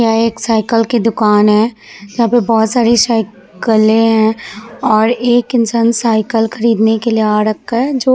यह एक साइकिल की दुकान है यहाँ पे बोहोत सारी साइकिले है और एक इंसान साइकिल खरीदने के लिए आ रखा है जो--